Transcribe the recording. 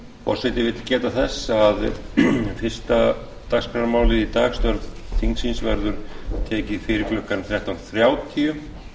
forseti vill geta þess að fyrsta dagskrármálið í dag störf þingsins verður tekið fyrir klukkan þrettán þrjátíu